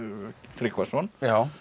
Tryggvason